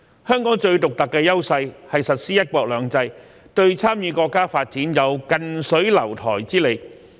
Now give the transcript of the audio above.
香港最獨特的優勢是實施"一國兩制"，對參與國家發展有近水樓台之利。